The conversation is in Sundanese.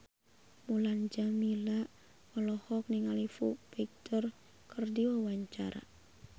Mulan Jameela olohok ningali Foo Fighter keur diwawancara